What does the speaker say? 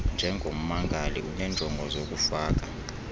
njengommangali unenjongo zokufaka